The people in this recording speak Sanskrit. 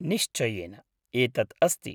निश्चयेन, एतत् अस्ति।